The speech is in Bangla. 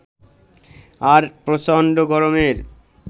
আর প্রচন্ড গরমের